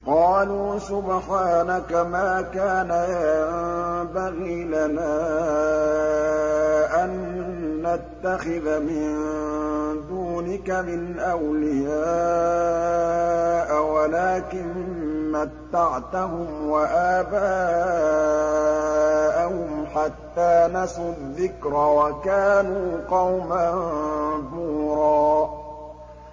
قَالُوا سُبْحَانَكَ مَا كَانَ يَنبَغِي لَنَا أَن نَّتَّخِذَ مِن دُونِكَ مِنْ أَوْلِيَاءَ وَلَٰكِن مَّتَّعْتَهُمْ وَآبَاءَهُمْ حَتَّىٰ نَسُوا الذِّكْرَ وَكَانُوا قَوْمًا بُورًا